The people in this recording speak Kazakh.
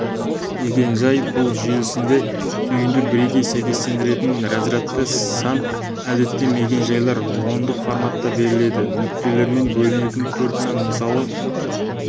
мекен-жай бұл желісінде түйінді бірегей сәйкестендіретін разрядты сан әдетте мекен-жайлар ондық форматта беріледі нүктелермен бөлінген төрт сан мысалы